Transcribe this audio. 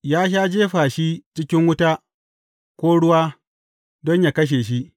Ya sha jefa shi cikin wuta, ko ruwa don yă kashe shi.